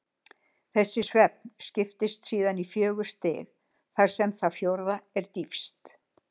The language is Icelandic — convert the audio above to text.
Þessi svefn skiptist síðan í fjögur stig, þar sem það fjórða er dýpst.